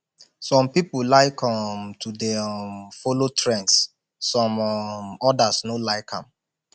some pipo like um to de um follow trends some um others no like am